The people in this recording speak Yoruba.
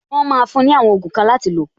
Wọn máa fún ní àwọn ogun kan láti lo